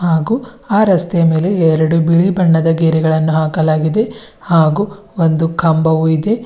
ಹಾಗು ಆ ರಸ್ತೆಯ ಎರಡು ಬಿಳಿ ಬಣ್ಣದ ಗೆರೆಗಳನ್ನು ಹಾಕಲಾಗಿದೆ ಹಾಗು ಒಂದು ಕಂಬವು ಇದೆ.